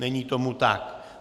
Není tomu tak.